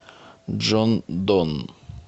джон донн